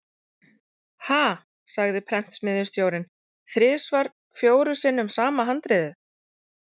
Ha, sagði prentsmiðjustjórinn: þrisvar fjórum sinnum sama handritið?